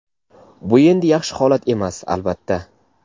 bu endi yaxshi holat emas, albatta.